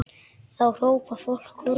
Þá hrópar fólk húrra.